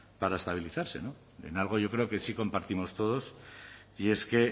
para estabilizarse no en algo yo creo que sí compartimos todos y es que